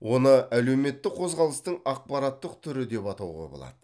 оны әлеуметтік қозғалыстың ақпараттық түрі деп атауға болады